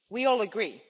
We all agree.